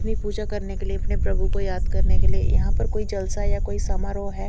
नि पूजा करने के लिए अपने प्रभु को याद करने के लिए यहाँ पर कोई झालसा या कोई स्म्हारोह है।